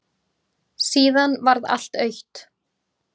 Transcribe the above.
Síðan varð allt autt.